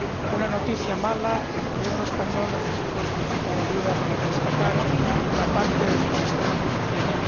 Una noticia mala el Gobierno español necesitó solicitar ayuda para rescatar una parte de su sistema financiero.